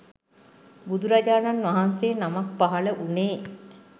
බුදුරජාණන් වහන්සේ නමක් පහළ වුණේ